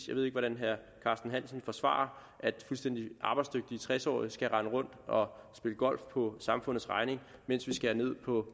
jeg ved ikke hvordan herre carsten hansen vil forsvare at fuldstændig arbejdsdygtige tres årige skal kunne rende rundt og spille golf på samfundets regning mens vi skærer ned på